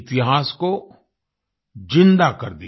इतिहास को ज़िंदा कर दिया